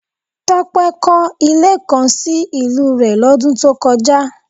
Tope kọ̀ ilé kan sì ìlú rè lodun tó kọjá